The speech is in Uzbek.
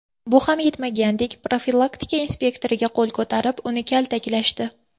Bu ham yetmagandek, profilaktika inspektoriga qo‘l ko‘tarib, uni kaltaklashdi.